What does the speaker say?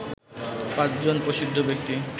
৫ জন প্রসিদ্ধ ব্যক্তি